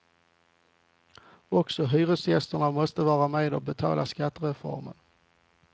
Också hyresgästerna måste vara med och betala skattereformen.